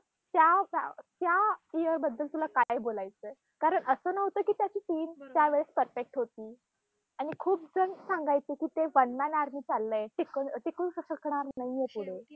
त्या त्या year बद्दल तुला काय बोलायचंय? कारण असं नव्हतं की त्याची team त्या वेळेस perfect होती. आणि खूप जण सांगायचे की ते one man army चाललंय. टिक टिकू शकणार नाहीये पुढे.